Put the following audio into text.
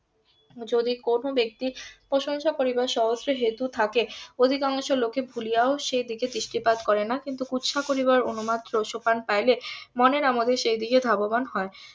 যদি কোনো ব্যাক্তি প্রশংসা করিবার সহস্র হেতু থাকে অধিকাংশ লোকে ভুলিয়াও সেই দিকে দৃষ্টিপাত করে না কিন্তু কুৎসা করিবার উন্মাদ . পাইলে মনের আমোদে সেইদিকে ধাবমান হয়